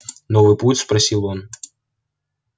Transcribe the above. новый путь спросил он